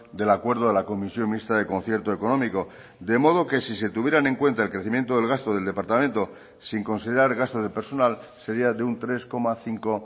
del acuerdo a la comisión mixta de concierto económico de modo que si se tuvieran en cuenta el crecimiento del gasto del departamento sin considerar gasto de personal sería de un tres coma cinco